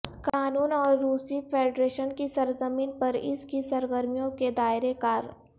قانون اور روسی فیڈریشن کی سرزمین پر اس کی سرگرمیوں کے دائرہ کار